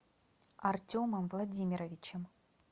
артемом владимировичем